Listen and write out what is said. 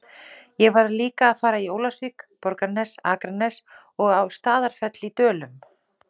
Ég varð líka að fara í Ólafsvík, Borgarnes, Akranes og á Staðarfell í Dölum